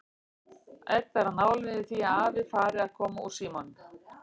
Edda er á nálum yfir því að afi fari að koma úr símanum.